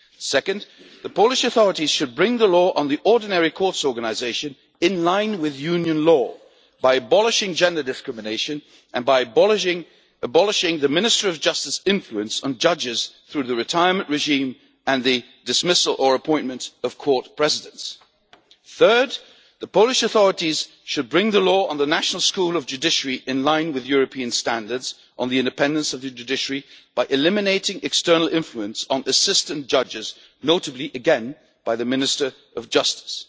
Second, the Polish authorities should bring the Law on the Common Courts Organisation into line with Union law by abolishing gender discrimination and by abolishing the Minister of Justice's influence on judges through the retirement regime and the dismissal or appointment of court presidents. Third, the Polish authorities should bring the law on the National School of Judiciary into line with European standards on the independence of the judiciary by eliminating external influence on assistant judges, notably, again, by the Minister of Justice.